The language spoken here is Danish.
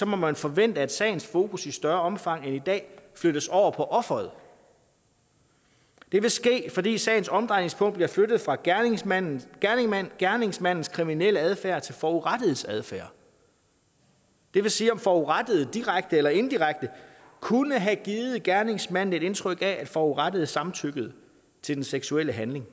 må man forvente at sagens fokus i større omfang end i dag flyttes over på offeret det vil ske fordi sagens omdrejningspunkt bliver flyttet fra gerningsmandens gerningsmandens kriminelle adfærd til forurettedes adfærd det vil sige om forurettede direkte eller indirekte kunne have givet gerningsmanden et indtryk af at forurettede samtykkede til den seksuelle handling